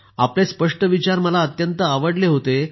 आपले स्पष्ट विचार मला अत्यंत आवडले होते